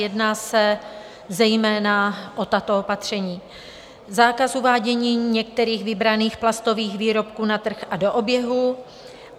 Jedná se zejména o tato opatření: Zákaz uvádění některých vybraných plastových výrobků na trh a do oběhu.